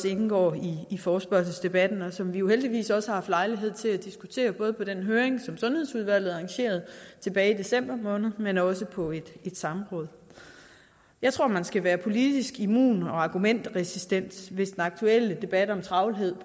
indgår i forespørgselsdebatten og som vi jo heldigvis også har haft lejlighed til at diskutere både på den høring som sundhedsudvalget arrangerede tilbage i december måned men også på et samråd jeg tror man skal være politisk immun og argumentresistent hvis den aktuelle debat om travlhed